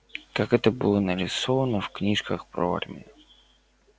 как это было нарисовано в книжках про армию